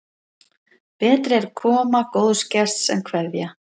Betri er koma góðs gests en kveðja.